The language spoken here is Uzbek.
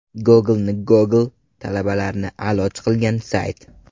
Google’ni Google, talabalarni a’lochi qilgan sayt.